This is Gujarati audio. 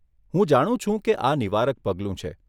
હું જાણું છું કે આ નિવારક પગલું છે.